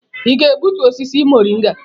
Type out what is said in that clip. Ị ga-egbutu osisi mọrịnga?